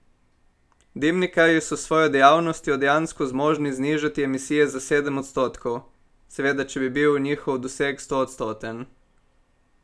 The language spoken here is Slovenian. Dimnikarji so s svojo dejavnostjo dejansko zmožni znižati emisije za sedem odstotkov, seveda če bi bil njihov doseg stoodstoten.